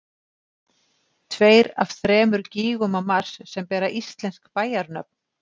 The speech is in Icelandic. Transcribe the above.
tveir af þremur gígum á mars sem bera íslensk bæjarnöfn